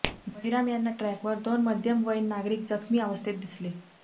बहिराम यांना ट्रॅकवर दोन मध्यमवयीन नागरिक जखमी अवस्थेत दिसले